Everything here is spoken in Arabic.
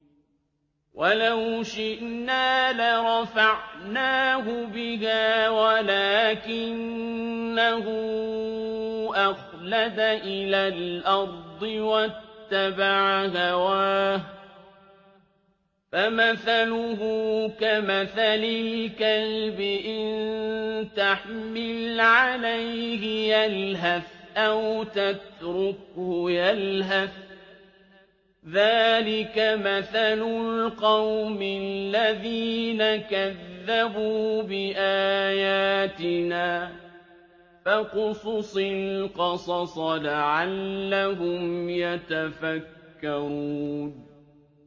وَلَوْ شِئْنَا لَرَفَعْنَاهُ بِهَا وَلَٰكِنَّهُ أَخْلَدَ إِلَى الْأَرْضِ وَاتَّبَعَ هَوَاهُ ۚ فَمَثَلُهُ كَمَثَلِ الْكَلْبِ إِن تَحْمِلْ عَلَيْهِ يَلْهَثْ أَوْ تَتْرُكْهُ يَلْهَث ۚ ذَّٰلِكَ مَثَلُ الْقَوْمِ الَّذِينَ كَذَّبُوا بِآيَاتِنَا ۚ فَاقْصُصِ الْقَصَصَ لَعَلَّهُمْ يَتَفَكَّرُونَ